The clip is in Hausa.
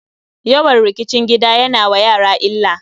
Yawan rikicin gida ya na wa yara illa.